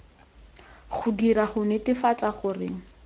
go dirwa go netefatsa gore